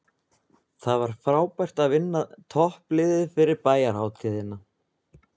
Það var frábært að vinna toppliðið fyrir bæjarhátíðina.